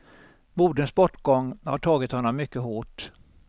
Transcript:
Moderns bortgång har tagit honom mycket hårt.